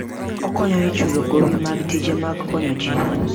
Okonyo e chulo gowi mag tije mag konyo ji.